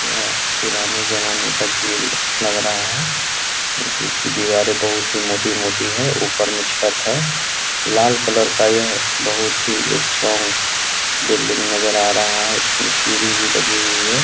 यह पुराने ज़माने का जेल लग रहा है जिसकी दीवारें बहुत ही मोटी-मोटी है ऊपर में छत है लाल कलर का यह बहुत ही स्ट्रोंग बिल्डिंग नज़र आ रहा है इसमें सीढ़ी भी लगी हुई है।